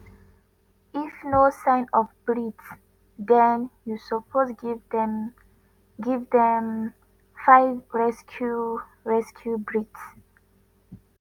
if no sign of breath den you suppose give dem… give dem 5 rescue rescue breaths: